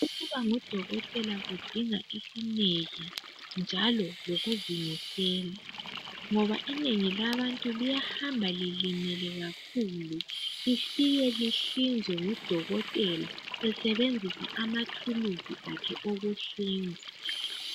ukuba ngodokotela kudinga isineke njalo lokuzimisela ngoba inengi labantu liyahamba lilimele kakhulu lifike lihlinzwe ngu dokotela esebenzisa amathuluzi akhe okuhlinza